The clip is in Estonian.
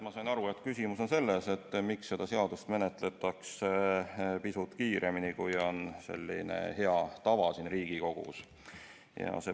Ma sain aru, et küsimus on selles, miks seda seadust menetletakse pisut kiiremini, kui on Riigikogu hea tava.